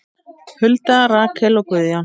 Hulda, Rakel og Guðjón.